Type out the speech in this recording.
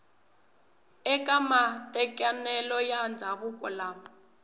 eka matekanelo ya ndzhavuko lama